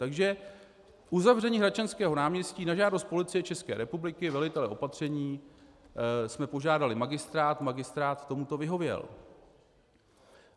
Takže uzavření Hradčanského náměstí - na žádost Policie České republiky, velitele opatření, jsme požádali magistrát, magistrát tomu vyhověl.